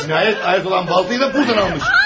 Cinayət aləti olan baltanı da buradan almış.